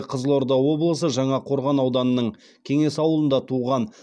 қызылорда облысы жаңақорған ауданының кеңес ауылында туған